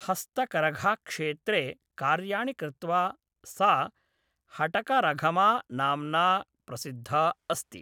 हस्तकरघाक्षेत्रे कार्याणि कृत्वा सा हटकारघमा नाम्ना प्रसिद्धा अस्ति ।